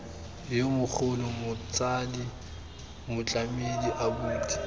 yo mogolo motsadi motlamedi abuti